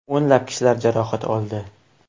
O‘nlab kishilar jarohat oldi.